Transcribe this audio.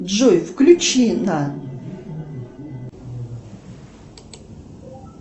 джой включи на